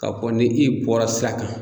Ka fɔ ni i bɔra sira kan.